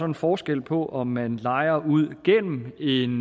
en forskel på om man lejer ud gennem en